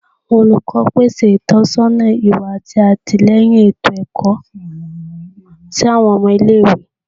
Awọn olukọ pese itọnisọna iwa ati atilẹyin eto-ẹkọ si awọn ọmọ ile-iwe